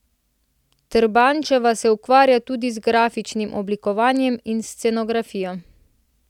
Trbančeva se ukvarja tudi z grafičnim oblikovanjem in scenografijo.